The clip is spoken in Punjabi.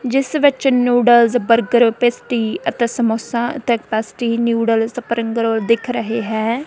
ਜਿਸ ਵਿੱਚ ਨੂਡਲਸ ਬਰਗਰ ਪੇਸਟੀ ਅਤੇ samosa pastry noodle spring roll ਦਿਖ ਰਹੇ ਹੈ।